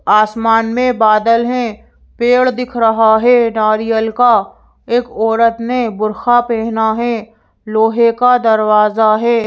आसमान में बादल हैं पेड़ दिख रहा है नारियल का एक औरत ने बुर्खा पहना है लोहे का दरवाजा है।